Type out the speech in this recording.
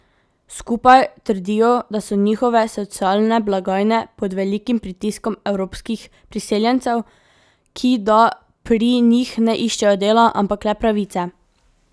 Skupaj trdijo, da so njihove socialne blagajne pod velikim pritiskom evropskih priseljencev, ki da pri njih ne iščejo dela, ampak le pravice.